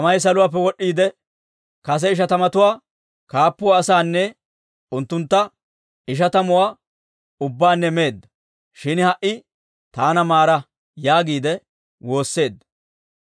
Tamay saluwaappe wod'd'iide, kase ishatamatuwaa kaappuwaa asaanne unttuntta ishatamatuwaa ubbaanne meedda. Shin ha"i taana maara!» yaagiide woosseedda.